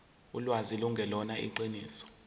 ulwazi lungelona iqiniso